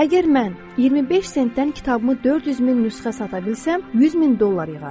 Əgər mən 25 sentdən kitabımı 400 min nüsxə sata bilsəm, 100 min dollar yığaram.